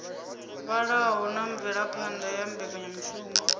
vhalaho na mvelaphana ya mbekanyamushumo